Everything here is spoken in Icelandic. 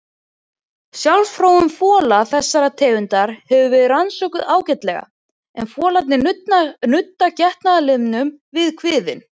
Sjálfsfróun fola þessara tegunda hefur verið rannsökuð ágætlega en folarnir nudda getnaðarlimnum við kviðinn.